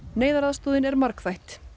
neyðaraðstoðin er margþætt